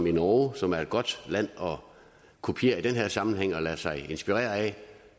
i norge som er et godt land at kopiere i den her sammenhæng og lade sig inspirere af